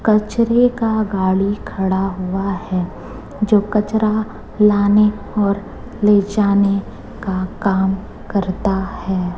कचरे का गाड़ी खड़ा हुआ है जो कचड़ा लाने और ले जाने का काम करता है।